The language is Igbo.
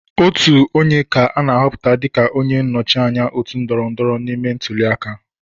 Otu onye ka ana ahọpụta dịka onye nnọchiteanya otu ndọrọndọrọ ime ntụliaka.